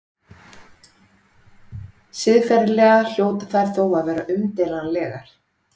Siðferðilega hljóta þær þó að vera umdeilanlegar.